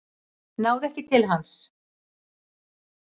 Náðu ekki til hans